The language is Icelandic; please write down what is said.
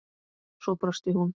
Svo brosti hún.